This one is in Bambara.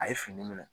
A ye fini minɛ